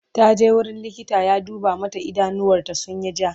taje wurin likita ya duba mata idanuwar ta sunyi ja